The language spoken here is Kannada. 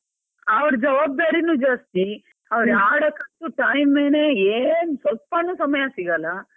ಅವರ್ ಜವಾಬ್ದಾರಿನೂ ಜಾಸ್ತಿ, ಅವರ್ ಆಡಕ್ಕಂತೂ timeಎನೇ ಏನ್ ಸ್ವಲ್ಪಾನು ಸಮ್ಯ ಸಿಗಲ್ಲ.